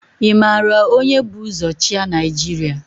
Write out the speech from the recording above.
Ị mara onye bu ụzọ chịa Naịjirịa?